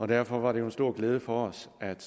derfor var det jo en stor glæde for os at